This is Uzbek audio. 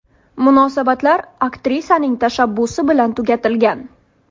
Munosabatlar aktrisaning tashabbusi bilan tugatilgan.